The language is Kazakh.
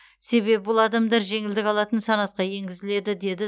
себебі бұл адамдар жеңілдік алатын санатқа енгізіледі деді